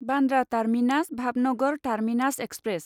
Bandra terminus Bhavnagar terminus express